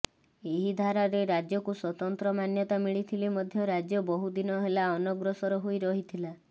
ଏହି ଧାରାରେ ରାଜ୍ୟକୁ ସ୍ୱତନ୍ତ୍ର ମାନ୍ୟତା ମିଳିଥିଲେ ମଧ୍ୟ ରାଜ୍ୟ ବହୁଦିନ ହେଲା ଅନଗ୍ରସର ହୋଇ ରହିଥିଲା